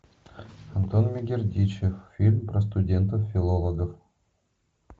антон мегердичев фильм про студентов филологов